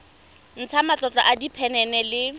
ntsha matlolo a diphenene le